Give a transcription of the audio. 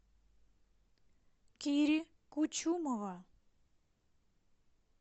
кири кучумова